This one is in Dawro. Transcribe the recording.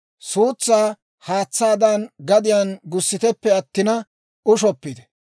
Suutsaa haatsaadan gadiyaan gussiteppe attina ushshoppite.